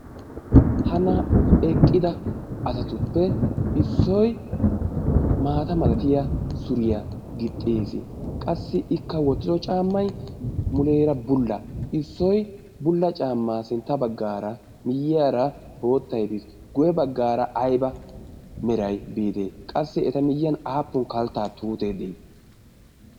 Ha naa"u eqqida asatuppe isdoyi maata mala suriya gixxidi eqqis. Qassi ikka wottido caammayi muleera bulla. Issoyi bulla caammaa baggaara miyyiyara boottayi bis guyye baggaara ayba merayi biidee? Qassi eta miyyiyan aappun kalttaa tuutee de"ii?